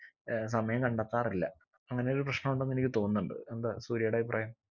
ഏർ സമയം കണ്ടെത്താറില്ല അങ്ങനെ ഒരു പ്രശ്നം ഉണ്ടെന്ന് എനിക്ക് തോന്നുന്നുണ്ട് എന്താ സൂര്യേടെ അഭിപ്രായം